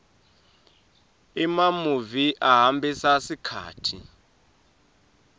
emamuvi ahambisa sikhatsi